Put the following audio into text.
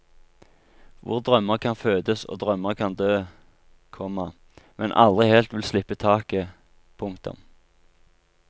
Hvor drømmer kan fødes og drømmer kan dø, komma men aldri helt vil slippe taket. punktum